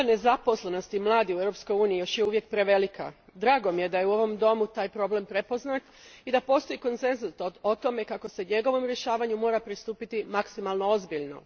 Stopa nezaposlenosti mladih u EU još je uvijek prevelika. Drago mi je da je u ovom domu taj problem prepoznat i da postoji konsenzus o tome kako se njegovom rješavanju mora pristupiti maksimalno ozbiljno.